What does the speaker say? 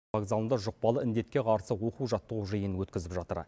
вокзалында жұқпалы індетке қарсы оқу жаттығу жиынын өткізіп жатыр